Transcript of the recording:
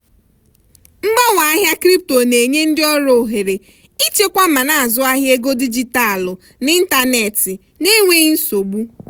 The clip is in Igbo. mgbanwe ahịa crypto na-enye ndị ọrụ ohere ịchekwa ma na-azụ ahịa ego dijitalụ n'ịntanetị n'enweghị nsogbu.